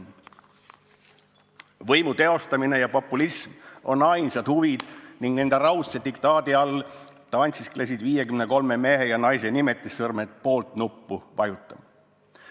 " Lisaks ütles ta: "Võimu teostamine ja populism on ainsad huvid ning nende raudse diktaadi all tantsisklesid 53 mehe ja naise nimetissõrmed "poolt"-nuppu vajutama.